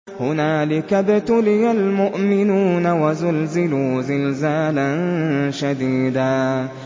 هُنَالِكَ ابْتُلِيَ الْمُؤْمِنُونَ وَزُلْزِلُوا زِلْزَالًا شَدِيدًا